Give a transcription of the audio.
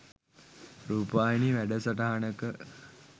රූපවාහිනී වැඩසටහනක